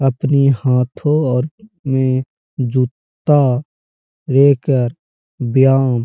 अपनी हाथों और में जूता लेकर बियावो --